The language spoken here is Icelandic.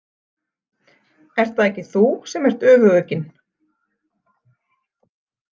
Ert það ekki þú sem ert öfugugginn?